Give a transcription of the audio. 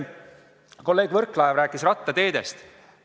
Kolleeg Võrklaev rääkis rattateedest.